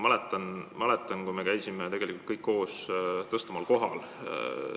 Ma mäletan, kui me käisime kõik koos Tõstamaal.